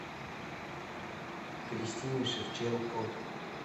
кристине шевченко